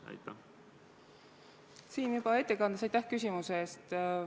Aitäh küsimuse eest!